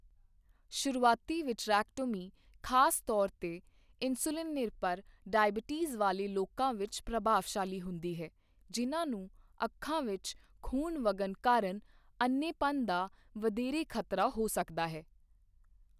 ਸ਼ੁਰੂਆਤੀ ਵਿਟਰੈਕਟੋਮੀ ਖਾਸ ਤੌਰ 'ਤੇ ਇਨਸੁਲਿਨ ਨਿਰਭਰ ਡਾਇਬੀਟੀਜ਼ ਵਾਲੇ ਲੋਕਾਂ ਵਿੱਚ ਪ੍ਰਭਾਵਸ਼ਾਲੀ ਹੁੰਦੀ ਹੈ, ਜਿਨ੍ਹਾਂ ਨੂੰ ਅੱਖਾਂ ਵਿੱਚ ਖੂਨ ਵਗਣ ਕਾਰਨ ਅੰਨ੍ਹੇਪਣ ਦਾ ਵਧੇਰੇ ਖ਼ਤਰਾ ਹੋ ਸਕਦਾ ਹੈ।